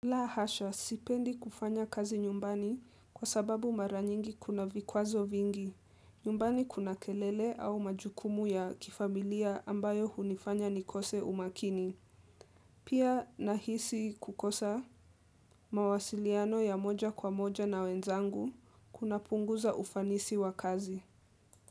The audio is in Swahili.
La hasha, sipendi kufanya kazi nyumbani kwa sababu mara nyingi kuna vikwazo vingi, nyumbani kuna kelele au majukumu ya kifamilia ambayo hunifanya nikose umakini. Pia nahisi kukosa mawasiliano ya moja kwa moja na wenzangu kuna punguza ufanisi wa kazi.